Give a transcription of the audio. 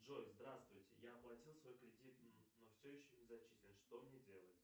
джой здравствуйте я оплатил свой кредит но все еще не зачислен что мне делать